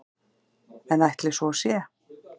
En ætli svo sé?